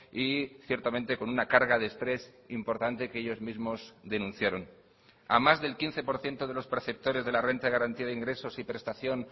y ciertamente con una carga de estrés importante que ellos mismos denunciaron a más del quince por ciento de los perceptores de la renta de garantía de ingresos y prestación